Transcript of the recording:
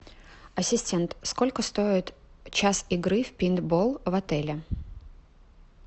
ассистент сколько стоит час игры в пейнтбол в отеле